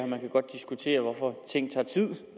man kan godt diskutere hvorfor ting tager tid